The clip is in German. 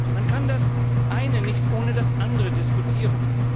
Man kann das eine nicht ohne das andere diskutieren.